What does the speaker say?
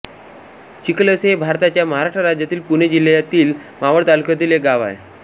चिखलसे हे भारताच्या महाराष्ट्र राज्यातील पुणे जिल्ह्यातील मावळ तालुक्यातील एक गाव आहे